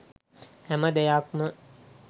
හැම දෙයක්ම